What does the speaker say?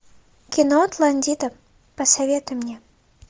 кино атлантида посоветуй мне